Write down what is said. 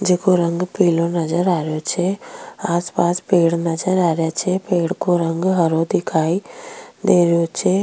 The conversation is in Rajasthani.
आ एक नर्सरी है नर्सरी में पौधा है बहोत सारा खजूर का पेड़ है दो तीन आम का दिख रिया है साइड में एक दर --